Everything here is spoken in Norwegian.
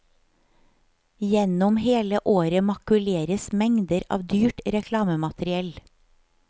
Gjennom hele året makuleres mengder av dyrt reklamemateriell.